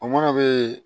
O mana bɛ yen